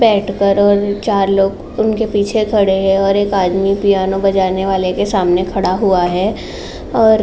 बैठकर और चार लोग उनके पीछे खड़े हैं और एक आदमी पिआनो बजाने वाले के सामने खड़ा हुआ है और --